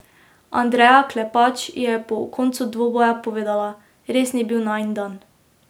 Andreja Klepač je po koncu dvoboja povedala: 'Res ni bil najin dan.